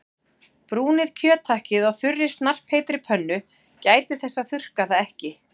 Brúnið kjöthakkið á þurri snarpheitri pönnu- gætið þess að þurrka það ekki.